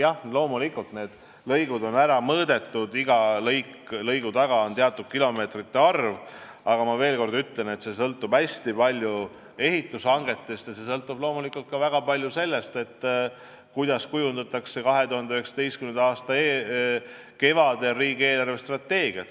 Jah, loomulikult on need lõigud ära mõõdetud, iga lõigu taga on teatud kilomeetrite arv, aga ma veel kord ütlen, et see sõltub hästi palju ehitushangetest ja loomulikult ka väga palju sellest, kuidas kujundatakse 2019. aasta kevadel riigi eelarvestrateegiat.